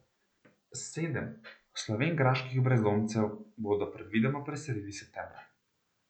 Sedem slovenjgraških brezdomcev bodo predvidoma preselili septembra.